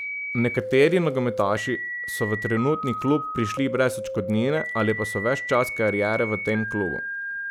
Nekateri nogometaši so v trenutni klub prišli brez odškodnine ali pa so ves čas kariere v tem klubu.